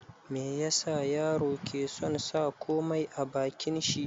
Me yasa yaro ke son sa komai a bakin shi?